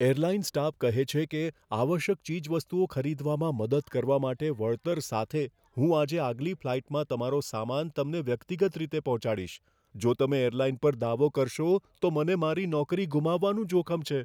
Airline staff કહે છે કે, આવશ્યક ચીજવસ્તુઓ ખરીદવામાં મદદ કરવા માટે વળતર સાથે હું આજે આગલી ફ્લાઇટમાં તમારો સામાન તમને વ્યક્તિગત રીતે પહોંચાડીશ. જો તમે એરલાઇન પર દાવો કરશો, તો મને મારી નોકરી ગુમાવવાનું જોખમ છે.